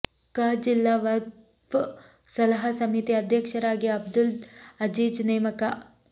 ಕ ಜಿಲ್ಲಾ ವಕ್ಫ್ ಸಲಹಾ ಸಮಿತಿ ಅಧ್ಯಕ್ಷರಾಗಿ ಅಬ್ದುಲ್ ಅಝೀಝ್ ನೇಮಕ